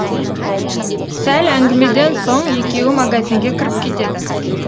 сәл әңгімеден соң екеуі магазинге кіріп кетеді